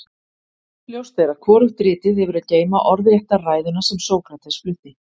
ljóst er að hvorugt ritið hefur að geyma orðrétta ræðuna sem sókrates flutti